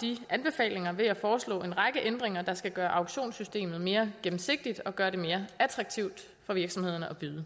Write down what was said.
de anbefalinger ved at foreslå en række ændringer der skal gøre auktionssystemet mere gennemsigtigt og gøre det mere attraktivt for virksomhederne at byde